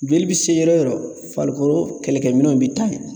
Joli bi se yɔrɔ yɔrɔ farikolo kɛlɛkɛminɛnw bi taa ye.